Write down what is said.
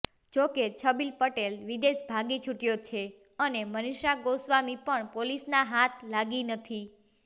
જોકે છબીલ પટેલ વિદેશ ભાગી છૂટ્યો છે અને મનીષા ગોસ્વામી પણ પોલીસના હાથ લાગી નથી